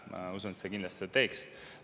Ma usun, et see kindlasti seda teeks.